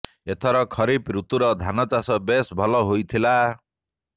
ଏଥର ଖରିଫ ଋତୁର ଧାନ ଚାଷ ବେଶ ଭଲ ହୋଇଥିଲା